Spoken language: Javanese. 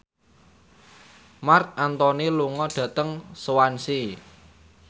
Marc Anthony lunga dhateng Swansea